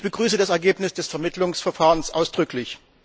Ich begrüße das Ergebnis des Vermittlungsverfahrens ausdrücklich.